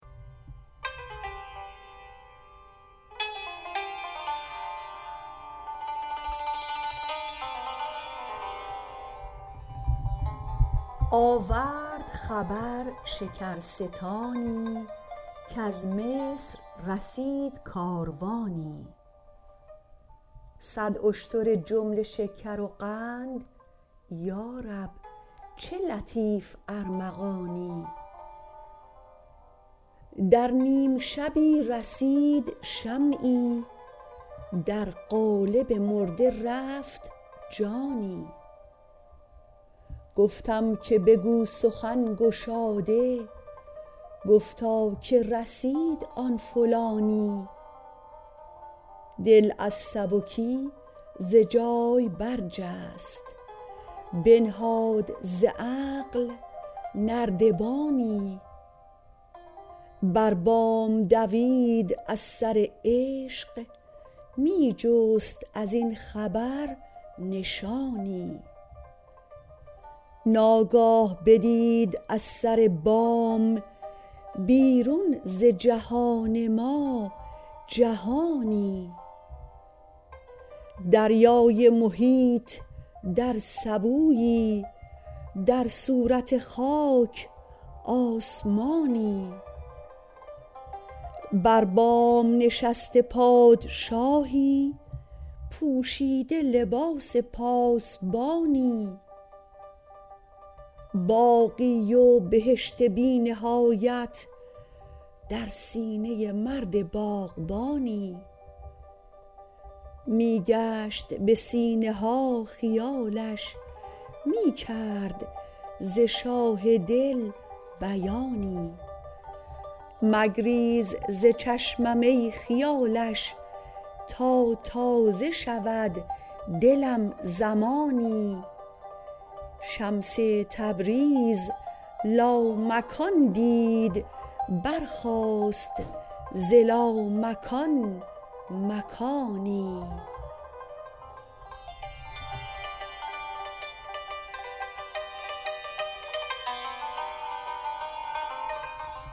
آورد خبر شکرستانی کز مصر رسید کاروانی صد اشتر جمله شکر و قند یا رب چه لطیف ارمغانی در نیم شبی رسید شمعی در قالب مرده رفت جانی گفتم که بگو سخن گشاده گفتا که رسید آن فلانی دل از سبکی ز جای برجست بنهاد ز عقل نردبانی بر بام دوید از سر عشق می جست از این خبر نشانی ناگاه بدید از سر بام بیرون ز جهان ما جهانی دریای محیط در سبویی در صورت خاک آسمانی بر بام نشسته پادشاهی پوشیده لباس پاسبانی باغی و بهشت بی نهایت در سینه مرد باغبانی می گشت به سینه ها خیالش می کرد ز شاه دل بیانی مگریز ز چشمم ای خیالش تا تازه شود دلم زمانی شمس تبریز لامکان دید برساخت ز لامکان مکانی